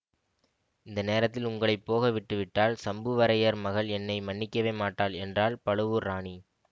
இந்த நேரத்தில் உங்களை போக விட்டுவிட்டால் சம்புவரையர் மகள் என்னை மன்னிக்கவே மாட்டாள் என்றாள் பழுவூர் ராணி